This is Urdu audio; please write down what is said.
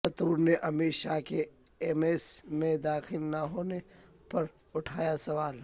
تھرور نے امت شاہ کے ایمس میں داخل نہ ہونے پر اٹھایا سوال